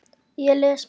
Ég les mikið.